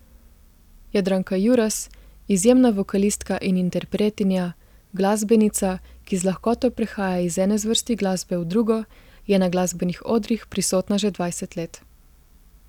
Jadranka Juras, izjemna vokalistka in interpretinja, glasbenica, ki z lahkoto prehaja iz ene zvrsti glasbe v drugo, je na glasbenih odrih prisotna že dvajset let.